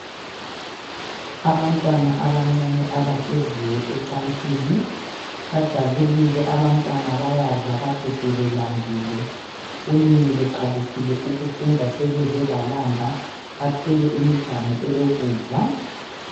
Abantwana abancane abahleziyo ecansini. Bajabulile abantwana bayadla kade sebelambile . Kunini beqalisile ukufunda sebeze balamba. Bathwele imiganu elokudla.